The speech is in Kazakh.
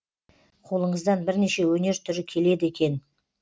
қолыңыздан бірнеше өнер түрі келеді екен